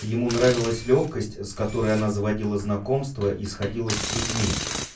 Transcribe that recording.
ему нравилась лёгкость с которой она заводила знакомства и сходилась с людьми